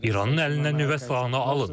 İranın əlindən nüvə silahını alın.